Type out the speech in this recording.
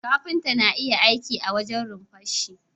Kafinta na iya aiki a wajen runfarshi